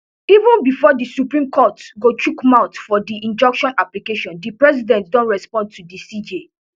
even bifor di supreme court go chook mouth for di injunction application di president don respond to di cj